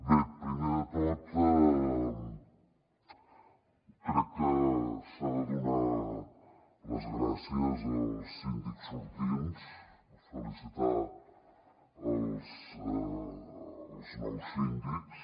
bé primer de tot crec que s’han de donar les gràcies als síndics sortints felicitar els nous síndics